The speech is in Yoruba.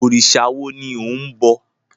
Òrìṣà wo ni ò ń bọ?